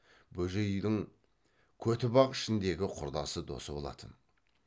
бөжейдің көтібақ ішіндегі құрдасы досы болатын